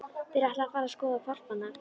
Þeir ætluðu að fara að skoða hvolpana.